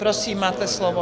Prosím, máte slovo.